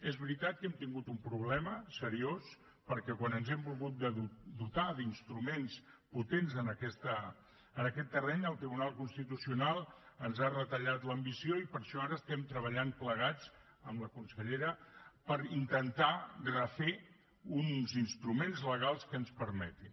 és veritat que hem tingut un problema seriós perquè quan ens hem volgut dotar d’instruments potents en aquest terreny el tribunal constitucional ens ha retallat l’ambició i per això ara estem treballant plegats amb la consellera per intentar refer uns instruments legals que ens ho permetin